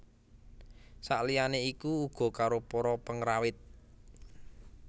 Saliyane iku uga karo para pengrawit